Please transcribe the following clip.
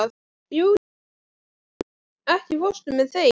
Júlíana, ekki fórstu með þeim?